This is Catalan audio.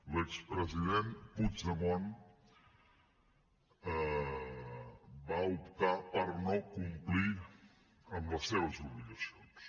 l’expresident puigdemont va optar per no complir amb les seves obligacions